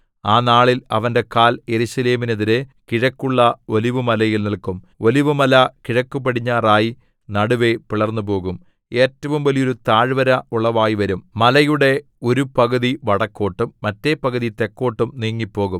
ആ നാളിൽ അവന്റെ കാൽ യെരൂശലേമിനെതിരെ കിഴക്കുള്ള ഒലിവുമലയിൽ നില്ക്കും ഒലിവുമല കിഴക്കുപടിഞ്ഞാറായി നടുവേ പിളർന്നുപോകും ഏറ്റവും വലിയൊരു താഴ്വര ഉളവായി വരും മലയുടെ ഒരു പകുതി വടക്കോട്ടും മറ്റേ പകുതി തെക്കോട്ടും നീങ്ങിപ്പോകും